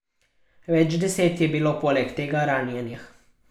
Več deset je bilo poleg tega ranjenih.